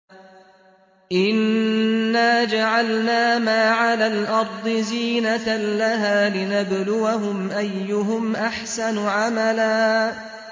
إِنَّا جَعَلْنَا مَا عَلَى الْأَرْضِ زِينَةً لَّهَا لِنَبْلُوَهُمْ أَيُّهُمْ أَحْسَنُ عَمَلًا